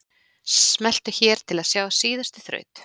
Smelltu hér til að sjá síðustu þraut.